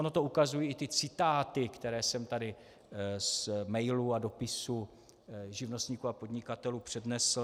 Ono to ukazují i ty citáty, které jsem tady z mailů a dopisů živnostníků a podnikatelů přednesl.